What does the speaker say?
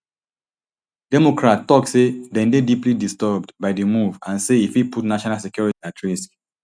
democrats tok say dem dey deeply disturbed by di move and say e fit put national security at risk